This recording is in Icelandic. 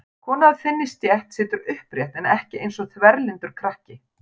Kona af þinni stétt situr upprétt en ekki eins og þverlyndur krakki.